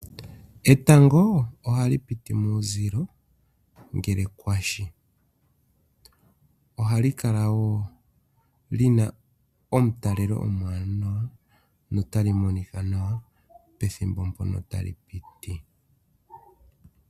Etango ohali piti kuuzilo ngele kwashi. Ohali kala woo li na omutalelo omwaanawa notali monika nawa pethimbo mpono tali piti.